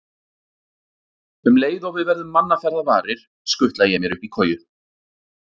Um leið og við verðum mannaferða varir, skutla ég mér upp í koju.